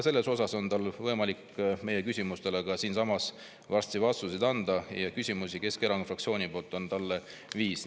Selles osas on tal ka võimalik varsti siinsamas meie küsimustele vastuseid anda, küsimusi Keskerakonna fraktsiooni poolt on talle viis.